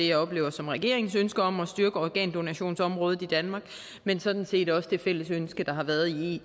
jeg oplever som regeringens ønske om at styrke organdonationsområdet i danmark men sådan set også det fælles ønske der har været i